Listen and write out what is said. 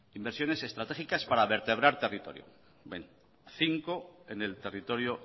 inversiones estratégicas para vertebrar territorio cinco en el territorio